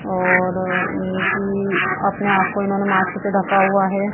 और इनकी अपने आप को इन्होंने मास्क से ढका हुआ है।